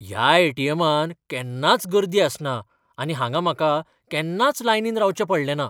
ह्या ए.टी.एमांत केन्नाच गर्दी आसना आनी हांगां म्हाका केन्नाच लायनींत रावचें पडलें ना.